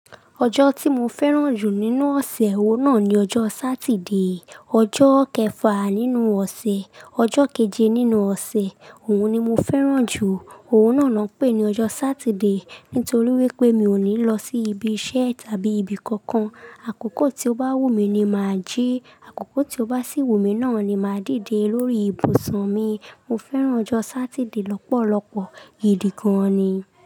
Ọjọ́ tí mo fẹ́ràn jù nínú ọ̀sẹ̀, òun náà ni ọjọ́ Saturday. Ọjọ́ kẹfà nínú ọ̀sẹ̀, ọjọ́ keje nínú ọ̀sẹ̀. Òun ni mo fẹ́ràn jù. Òun náà ló ń pè ní ọjọ́ Saturday, nítorí wípé mi ò ní lọ sí ibi iṣẹ́ tàbí ibi kankan. Àkókò tí ó bá wù mí ni ma a jí, àkókò tí ó bá sì wù mí náà ni ma a dìde lórí ibùsùn mi. Mo fẹ́ràn ọjọ́ Saturday lọ́pọ̀lọpọ̀, gidi gan ni.